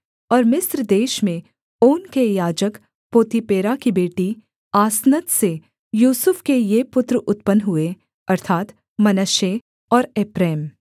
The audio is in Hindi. और मिस्र देश में ओन के याजक पोतीपेरा की बेटी आसनत से यूसुफ के ये पुत्र उत्पन्न हुए अर्थात् मनश्शे और एप्रैम